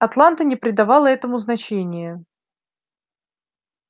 атланта не придавала этому значения